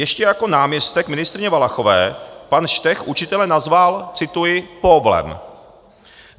Ještě jako náměstek ministryně Valachové pan Štech učitele nazval - cituji - póvlem.